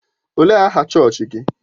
Ọ léé aha chọọchị gị?